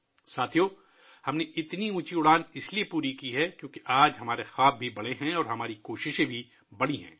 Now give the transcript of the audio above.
ساتھیو ، ہم نے اتنی اونچی اڑان بھری ہے کیونکہ آج ہمارے خواب بھی بڑے ہیں اور ہماری کوششیں بھی بڑی ہیں